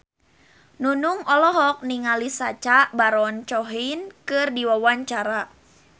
Nunung olohok ningali Sacha Baron Cohen keur diwawancara